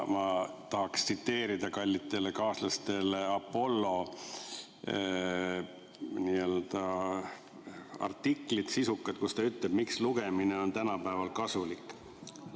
Ma tahaksin tsiteerida kallitele kaaslastele Apollo sisukat artiklit, kus räägitakse, miks lugemine on tänapäeval kasulik.